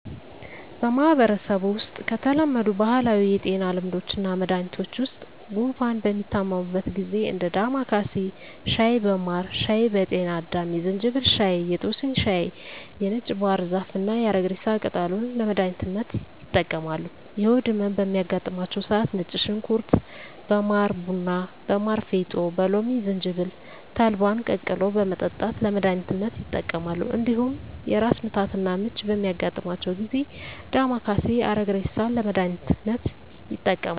በማህበረሰቡ ውስጥ ከተለመዱ ባህላዊ የጤና ልምዶችና መድሀኒቶች ውስጥ ጉንፋን በሚታመሙበት ጊዜ እንደ ዳማካሴ ሻይ በማር ሻይ በጤና አዳም የዝንጅብል ሻይ የጦስኝ ሻይ የነጭ ባህር ዛፍና የአረግሬሳ ቅጠልን ለመድሀኒትነት ይጠቀማሉ። የሆድ ህመም በሚያጋጥማቸው ሰዓት ነጭ ሽንኩርት በማር ቡና በማር ፌጦ በሎሚ ዝንጅብል ተልባን ቀቅሎ በመጠጣት ለመድሀኒትነት ይጠቀማሉ። እንዲሁም የራስ ምታትና ምች በሚያጋጥማቸው ጊዜ ዳማካሴ አረግሬሳን ለመድሀኒትነት ይጠቀማሉ።